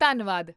ਧੰਨਵਾਦ